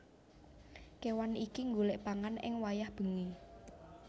Kéwan iki nggolèk pangan ing wayah bengi